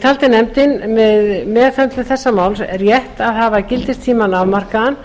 taldi nefndin við meðhöndlun þess máls rétt að hafa gildistímann afmarkaðan